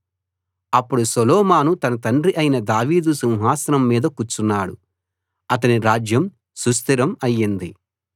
అప్పుడు సొలొమోను తన తండ్రి అయిన దావీదు సింహాసనం మీద కూర్చున్నాడు అతని రాజ్యం సుస్థిరం అయింది